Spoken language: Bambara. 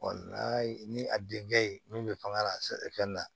ni a denkɛ ye min bɛ fanga lafɛn na